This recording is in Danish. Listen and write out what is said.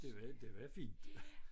Det var det var fint